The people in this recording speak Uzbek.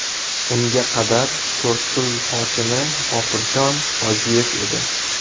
Unga qadar To‘rtko‘l hokimi G‘ofurjon Hojiyev edi.